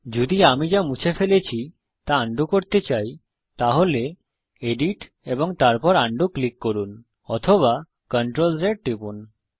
যদি আমি যা মুছে ফেলেছি তা আন্ডু করতে চাই তাহলে এডিট এবং তারপর আন্ডু ক্লিক করুন অথবা CTRL Z টিপুন